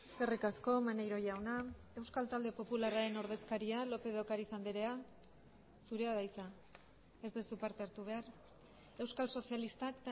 eskerrik asko maneiro jauna euskal talde popularraren ordezkaria lópez de ocariz andrea zurea da hitza ez duzu parte hartu behar euskal sozialistak